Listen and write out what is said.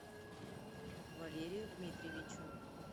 валерию дмитриевичу